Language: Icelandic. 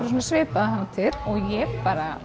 svipaða hátíð ég